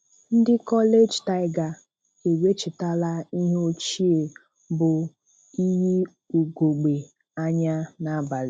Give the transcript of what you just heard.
Ndị College tiger e wechitala ihe ochie bụ iyi ugogbe-anya n'abalị.